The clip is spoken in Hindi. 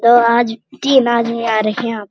तो आज तीन आदमी आ रहें हैं यहाँ।